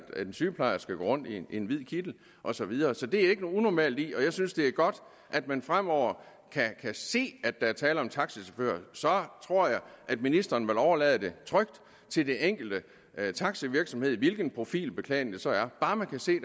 en sygeplejerske går rundt i en hvid kittel og så videre så det er der jo ikke noget unormalt i og jeg synes det er godt at man fremover kan se at der er tale om en taxachauffør så tror jeg at ministeren vil overlade det trygt til den enkelte taxavirksomhed hvilken profilbeklædning det så er bare man kan se